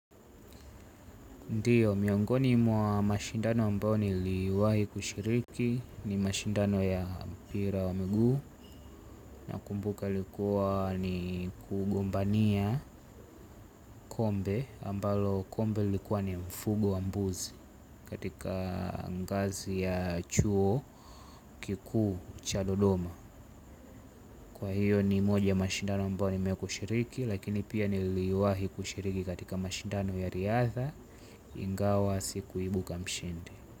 Ndiyo, miongoni mwa mashindano ambao niliwahi kushiriki ni mashindano ya pira wa mguu nakumbuka ilikuwa ni kugombania kombe ambalo kombe lilikuwa ni mfugo wa mbuzi katika ngazi ya chuo kikuu cha dodoma. Kwa hiyo ni moja mashindano ambao nime kushiriki lakini pia niliwahi kushiriki katika mashindano ya riadha ingawa sikuibuka mshindi.